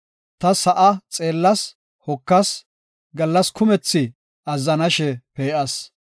Ta sa7a xeellas; hokas; gallas kumethi azzanashe pee7as.